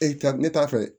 E ka ne t'a fɛ